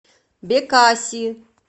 бекаси